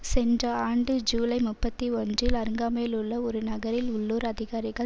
சென்ற ஆண்டு ஜீலை முப்பத்தி ஒன்றில் அருகாமையிலுள்ள ஒரு நகரில் உள்ளூர் அதிகாரிகள்